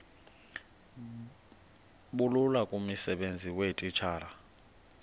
bulula kumsebenzi weetitshala